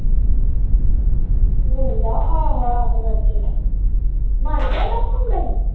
ਮੁੁੰਡਾ ਆਹੋ ਆਹੋ ਮਰ ਗਿਆ ਮੁੰਡਾ ਉਹਦਾ